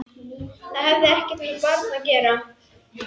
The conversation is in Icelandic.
Það hefur ekkert með barn að gera!